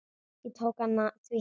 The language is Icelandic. Ég tók hann því heim.